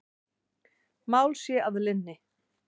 Mál sé að linni.